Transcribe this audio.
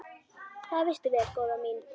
Það veistu vel, góða mín.